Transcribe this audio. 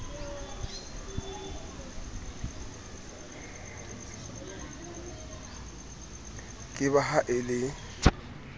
ke ba ha e le